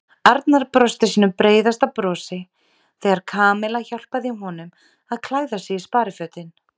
Arnar brosti sínu breiðasta brosi þegar Kamilla hjálpaði honum að klæða sig í sparifötin.